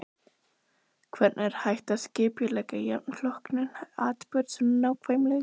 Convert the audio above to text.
Hvernig er hægt að skipuleggja jafn flókinn atburð svo nákvæmlega?